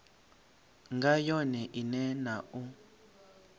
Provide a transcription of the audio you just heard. nga yone ine na u